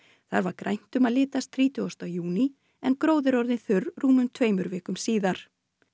þar var grænt um að litast þrítugasta júní en gróður orðinn þurr rúmum tveimur vikum síðar